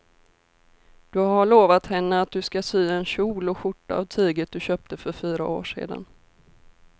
Du har lovat henne att du ska sy en kjol och skjorta av tyget du köpte för fyra år sedan.